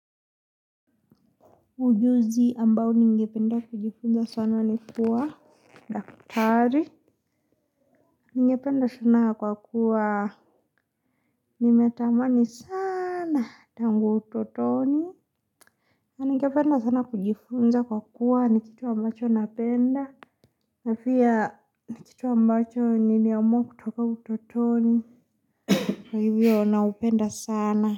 Ujuzi ambao ningependa kujifunza sana ni kuwa Daktari. Ningependa sana kwa kuwa nimetamani sana tangu utotoni. Ningependa sana kujifunza kwa kuwa ni kitu ambacho napenda. Napia ni kitu ambacho ni niliamua kutoka utotoni. Kwa hivyo naupenda sana.